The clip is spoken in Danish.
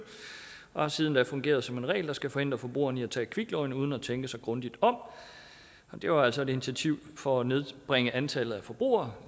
og har siden da fungeret som en regel der skal forhindre forbrugerne i at tage et kviklån uden at tænke sig grundigt om det var altså et initiativ for at nedbringe antallet af forbrugere